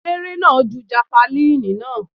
Eléré náà ju jafalíìnì náà.